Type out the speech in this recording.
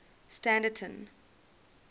standerton